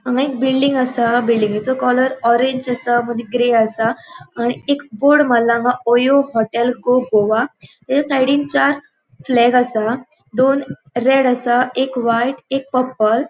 हांगा एक बिल्डिंग असा बिल्डिंगेचो कलर ऑरेंज असा मागिर ग्रे असा आणि एक बोर्ड मारला ओयो हॉटेल गो गोवा थे साइडीन चार फ्लॅग असा दोन रेड असा एक व्हाइट एक पर्पल .